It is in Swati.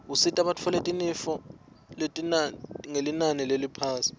usita bitfole tinifo ngelinani leliphasi